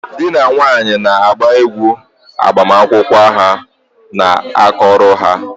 Di na nwunye na-agba egwu agbamakwụkwọ a na-akụrụ ha.